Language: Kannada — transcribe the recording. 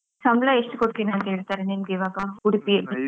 ಸಂಬಳ ಎಷ್ಟು ಕೊಡ್ತೇನೆ ಅಂತ ಹೇಳ್ತಾರೆ ನಿಮ್ಗೀವಾಗ? ಉಡುಪಿಯಲ್ಲಿ?